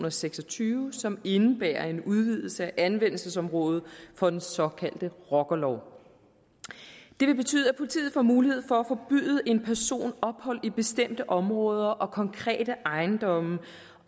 og seks og tyve som indebærer en udvidelse af anvendelsesområdet for den såkaldte rockerlov det vil betyde at politiet får mulighed for at forbyde en person ophold i bestemte områder og konkrete ejendomme